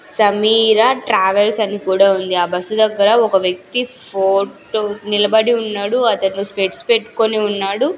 Sameera travels అని కూడా ఉంది ఆ బస్సు దగ్గర ఒక వ్యక్తి ఫోటో నిలబడి ఉన్నాడు అతను స్పెడ్స్ పెట్కొని ఉన్నాడు.